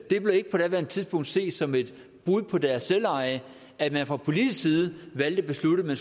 det blev på daværende tidspunkt ikke set som et brud på deres selveje at man fra politisk side valgte at beslutte